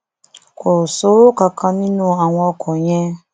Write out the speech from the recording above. kò sówó kankan nínú àwọn ọkọ yẹn